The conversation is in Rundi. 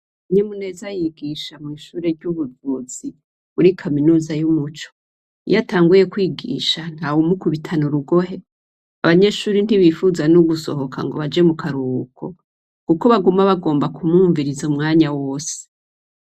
Kanyamuneza yigisha mw'ishure ry'ubuvuzi muri kaminuza y'umuco, iyatanguye kwigisha ntawumukubitana urugohe, abanyeshure ntibifuza no gusohoka ngo baje mu karuhuko, kuko baguma bagomba kumwumviriza umwanya wose.